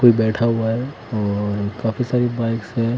कोई बैठा हुआ है और काफी सारी बाइक्स है।